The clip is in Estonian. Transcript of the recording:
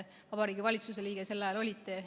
Vabariigi Valitsuse liige te sel ajal olite.